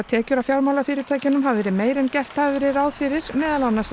tekjur af fjármálafyrirtækjunum hafi verið meiri en gert hafi verið ráð fyrir meðal annars